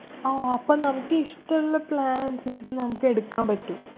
ആഹ് അപ്പൊ നമുക്കിഷ്ടള്ള plan അനുസരിച്ചിട്ട് നമുക്ക് എടുക്കാൻ പറ്റും.